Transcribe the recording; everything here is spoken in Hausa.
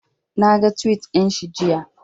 Naga tuwit ɗinshi jiya